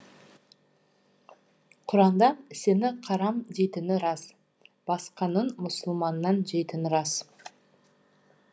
құранда сені қарам дейтіні рас басқаның мұсылманнан жейтіні рас